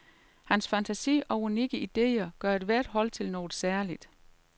Hans fantasi og unikke idéer gør ethvert hold til noget særligt.